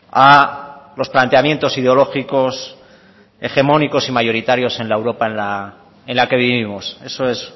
a los planteamientos ideológicos hegemónicos y mayoritarios en la europa en la que vivimos eso es